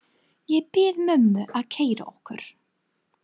Ég bið mömmu að keyra okkur.